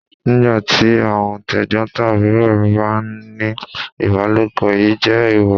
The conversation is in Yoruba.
Nígbà tí àwọn t'ẹ̀gbọ̀ntàbúrò ń bá a ní ìbálòpọ̀, èyí jẹ́ èèwọ̀.